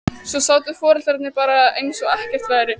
Svo sátu foreldrarnir bara eins og ekkert væri.